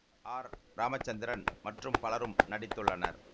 R Ramachandran மற்றும் பலரும் நடித்துள்ளனர்